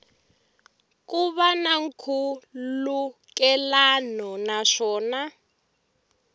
ku va na nkhulukelano naswona